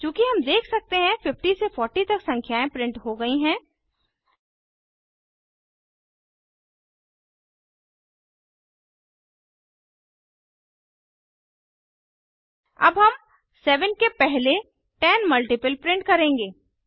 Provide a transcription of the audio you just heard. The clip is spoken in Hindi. चूँकि हम देख सकते हैं 50 से 40 तक संख्याएं प्रिंट हो गई हैं अब हम 7 के पहले 10 मल्टीपल प्रिंट करेंगे